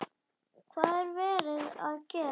Hvað er verið að gera?